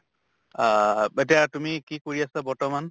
আহ ব এতিয়া কি কৰি আছা বৰ্তমান?